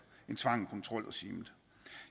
end tvang og kontrol regimet